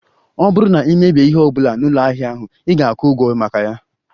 Ọ bụrụ na ị mebie ihe ọ bụla na ụlọ ahịa ahụ, ị ga-akwụ ụgwọ maka ya